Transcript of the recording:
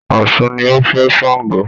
Ọ̀ṣun ni ó fẹ́ Sango